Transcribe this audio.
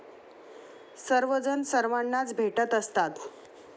सर्वजण सर्वांनाच भेटत असतात.